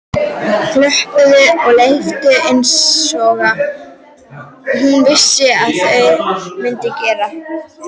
Glömpuðu og leiftruðu einsog hún vissi að þau mundu gera.